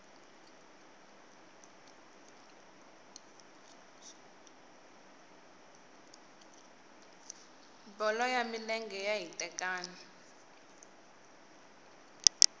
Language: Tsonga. bolo ya milenge xa hitekani